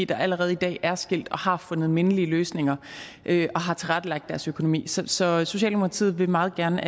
der allerede i dag er skilt og har fundet mindelige løsninger og tilrettelagt deres økonomi så så socialdemokratiet vil meget gerne